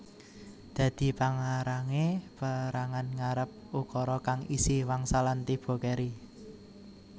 Dadi pangarangé perangan ngarep ukara kang isi wangsalan tiba keri